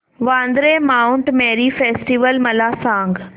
Vandre Mount Mary festival मला सांग